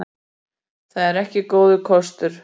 Það er ekki góður kostur.